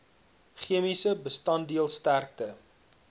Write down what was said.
chemiese bestanddeel sterkte